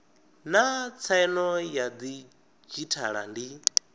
naa tsaino ya didzhithala ndi